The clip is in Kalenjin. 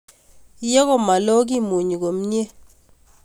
Ye malo ke munyi komye